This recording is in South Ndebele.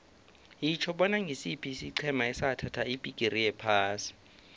yitjho bona ngisiphi isiqhema esathatha ibhigiri yephasi